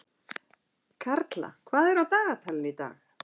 Karla, hvað er á dagatalinu í dag?